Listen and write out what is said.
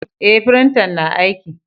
Eh, firintan na aiki.